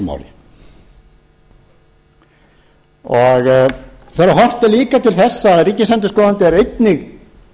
í þessu máli þegar horft er líka til þess að ríkisendurskoðandi er einnig